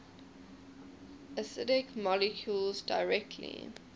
acidic molecules directly